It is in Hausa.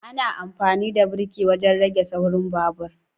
ana amfani da birki wajen rage saurin babur